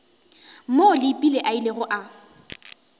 moo leepile a ilego a